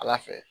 Ala fɛ